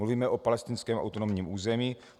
Mluvíme o palestinském autonomním území.